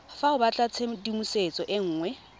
fa o batlatshedimosetso e nngwe